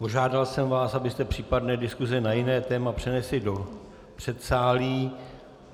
Požádal jsem vás, abyste případné diskuse na jiné téma přenesli do předsálí.